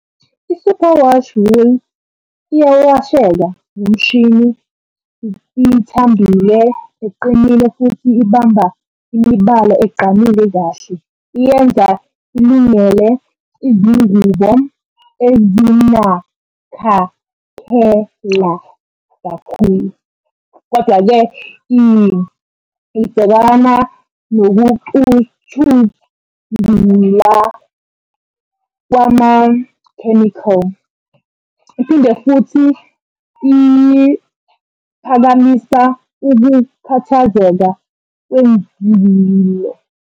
I-superwash wool iyawasheka ngomshini, ithambile, iqinile futhi ibamba imibala egqamile kahle. Iyenza ilungele izingubo kakhulu. Kodwa-ke ibhekana nokucuthula kwama-chemical, iphinde futhi iphakamisa ukukhathazeka kwemvilo.